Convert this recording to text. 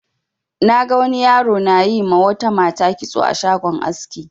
Na ga wani yaro na yi ma wata mata kitso a shagon aski.